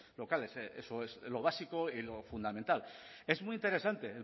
locales eso es lo básico y fundamental es muy interesante